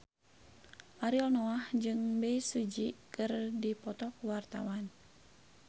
Ariel Noah jeung Bae Su Ji keur dipoto ku wartawan